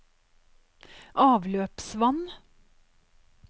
avløpsvann